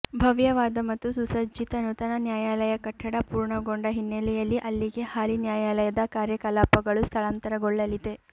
ಭವ್ಯವಾದ ಮತ್ತು ಸುಸಜ್ಜಿತ ನೂತನ ನ್ಯಾಯಾಲಯ ಕಟ್ಟಡ ಪೂರ್ಣಗೊಂಡ ಹಿನ್ನೆಲೆಯಲ್ಲಿ ಅಲ್ಲಿಗೆ ಹಾಲಿ ನ್ಯಾಯಾಲಯದ ಕಾರ್ಯಕಲಾಪಗಳು ಸ್ಥಳಾಂತರಗೊಳ್ಳಲಿದೆ